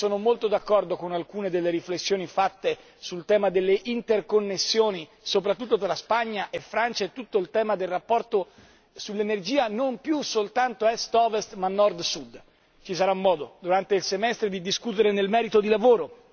E sono molto d'accordo con alcune delle riflessioni fatte sul tema delle interconnessioni, soprattutto dalla Spagna e Francia e tutto il tema del rapporto sull'energia non più soltanto a est o ovest, ma nord sud. Ci sarà modo, durante il semestre, di discutere nel merito di lavoro.